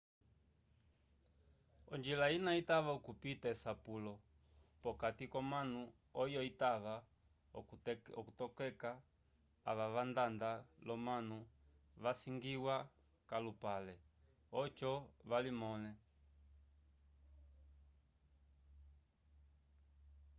onjila ina itava okupita esapulo p'okati k'omanu oyo itava okutokeka ava vandanda l'omanu vasangiwa k'alupale oco valimõle